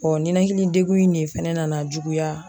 ninakili degun in de fana na na juguya.